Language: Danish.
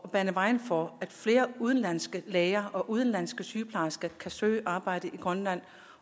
at bane vejen for at flere udenlandske læger og udenlandske sygeplejersker kan søge arbejde i grønland